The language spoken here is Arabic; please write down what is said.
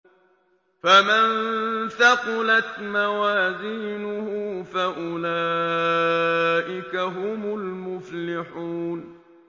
فَمَن ثَقُلَتْ مَوَازِينُهُ فَأُولَٰئِكَ هُمُ الْمُفْلِحُونَ